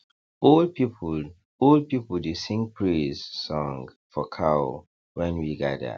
old people old people dey sing praise song for cow when we gather